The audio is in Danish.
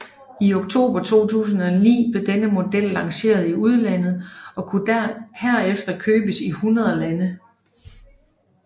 I oktober 2009 blev denne model lanceret i udlandet og kunne herefter købes i 100 lande